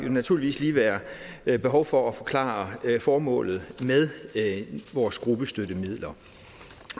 naturligvis lige være være behov for at forklare formålet med vores gruppestøttemidler